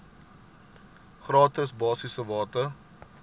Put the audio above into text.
gratis basiese water